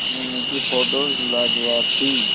मीनू की फोटोज लाजवाब थी